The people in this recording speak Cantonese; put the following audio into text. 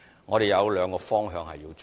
我們有兩個方向要發展。